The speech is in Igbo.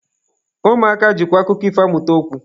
Ụmụaka jikwa akụkọ ifo amụta okwu.